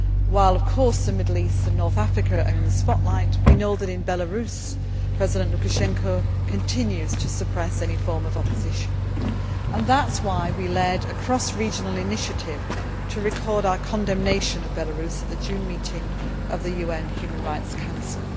While, of course, the Middle East and North Africa are in the spotlight, we know that in Belarus, President Lukashenko continues to suppress any form of opposition, and that is why we led a cross regional initiative to record our condemnation of Belarus at the June meeting of the UN Human Rights Council.